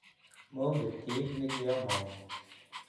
monget kiit ne kiamong'u